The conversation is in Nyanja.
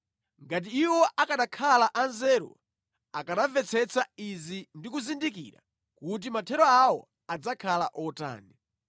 Ngati iwo akanakhala anzeru akanamvetsetsa izi ndi kuzindikira kuti mathero awo adzakhala otani!